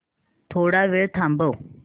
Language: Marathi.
थोडा वेळ थांबव